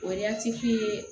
O